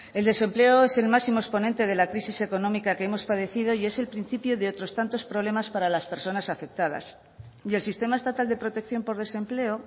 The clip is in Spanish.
el desempleo es el máximo exponente de la crisis económica que hemos padecido y es el principio de otros tantos problemas para las personas afectadas y el sistema estatal de protección por desempleo